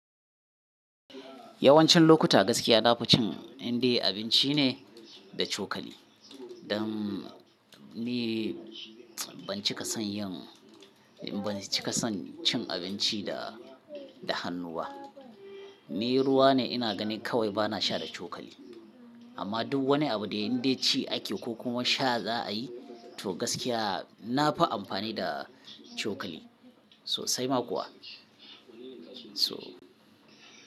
Yawancin lokuta gaskiya na fi cin in dai abinci ne da cokali. Dan ni ban cika son yin, ban cika son cin abinci da, da hannu ba. Ni ruwa ne ina gani kawai bana sha da cokali. Amma duk wani abu da in dai ci ake ko kuma sha za a yi, to gaskiya na fi amfani da cokali sosai ma kuwa. So.